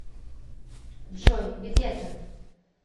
джой где то